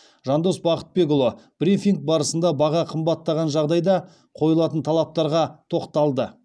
жандос бақытбекұлы брифинг барысында баға қымбаттаған жағдайда қойылатын талаптарға тоқталды